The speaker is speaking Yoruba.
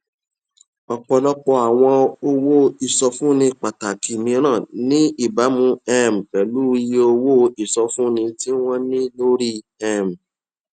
ọpọlọpọ àwọn owó ìsọfúnni pàtàkì mìíràn ní ìbámu um pẹlú iye owó ìsọfúnni tí wọn ní lórí um